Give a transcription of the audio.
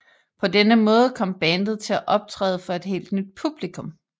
På denne måde kom bandet til at optræde for et helt nyt publikum